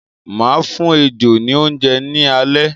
Máa fún ejò ni oúnjẹ ní alẹ́